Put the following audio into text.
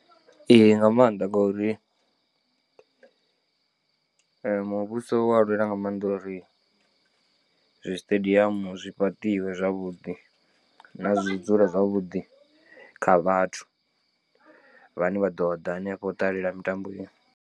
Ee nga maanḓa ngori muvhuso wa lwela nga maanḓa uri zwi siṱediamu zwi fhaṱiwe zwavhuḓi na zwi dzula zwavhuḓi kha vhathu vhane vha ḓoḓa hanefho u ṱalela mitambo iyo.